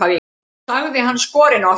sagði hann skorinort.